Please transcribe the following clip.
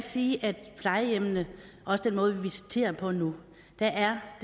sige at plejehjemmene også den måde vi visiterer på nu